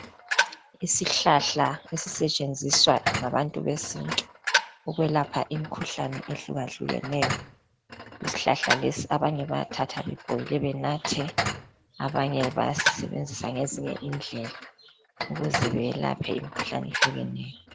Isihlahla esisetshenziswa ngabantu besintu ukwelapha imkhuhlane ehlukahlukeneyo. Isihlahla lesi abanye bayathatha bebhoyile benathe abanye bayasisebenzisa ngezinye indlela ukuze beyelaphe imkhuhlane ehlukeneyo.